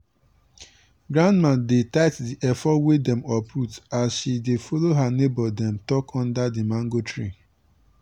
grandmama dey tite d efo wey dem uproot as she dey follo her neighbor dem talk under di mango tree.